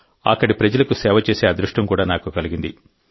అక్కడి ప్రజలకు సేవ చేసే అదృష్టం కూడా నాకు కలిగింది